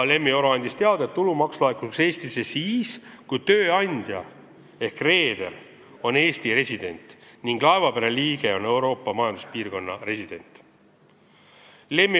Lemmi Oro andis teada, et tulumaks laekuks Eestisse siis, kui tööandja ehk reeder on Eesti resident ning laevapere liige on Euroopa Majanduspiirkonna resident.